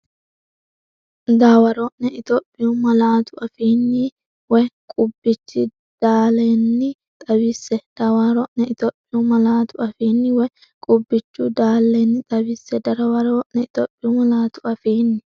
Dawaro’ne Itophiyu malaatu afiinni woy qubbichu dalenni xawisse Dawaro’ne Itophiyu malaatu afiinni woy qubbichu dalenni xawisse Dawaro’ne Itophiyu malaatu afiinni.